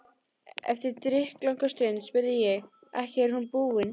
Eftir drykklanga stund spurði ég: Ekki er hún búin?